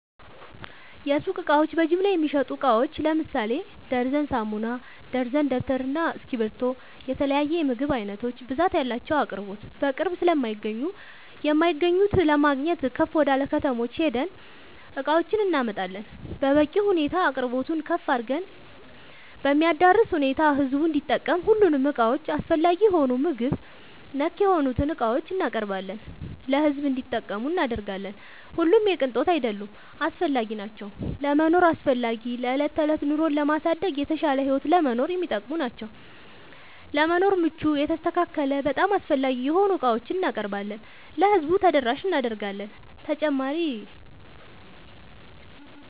የሱቅ እቃዎች በጅምላ የሚሸጡ እቃዎች ለምሳሌ ደርዘን ሳሙና፣ ደርዘን ደብተር እና እስኪብርቶ የተለያዬ የምግብ አይነቶች ብዛት ያላቸው አቅርቦት በቅርብ ስለማይገኙ የማይገኙት ለማግኘት ከፍ ወደላ ከተሞች ሄደን እቃዎችን እናመጣለን በበቂ ሁኔታ አቅርቦቱን ከፍ አድርገን በሚያዳርስ ሁኔታ ህዝቡም እንዲጠቀም ሁሉንም እቃዎች አስፈላጊ የሆኑ በምግብ ነክ የሆኑትን እቃዎችን እናቀርባለን ለሕዝብ እንዲጠቀሙ እናደርጋለን። ሁሉም የቅንጦት አይደሉም አስፈላጊናቸው ለመኖር አስፈላጊ ለዕለት ተዕለት ኑሮን ለማሳደግ የተሻለ ህይወት ለመኖር የሚጠቅሙ ናቸው። ለመኖር ምቹ የተስተካከለ በጣም አስፈላጊ የሆኑ ዕቃዎችን እናቀርባለን ለህዝቡ ተደራሽ እናደርጋለን።…ተጨማሪ ይመልከቱ